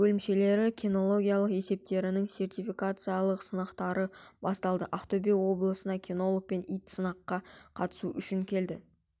бөлімшелері кинологиялық есептерінің сертификациялық сынақтары басталды ақтөбе облысына кинолог пен ит сынаққа қатысу үшін келді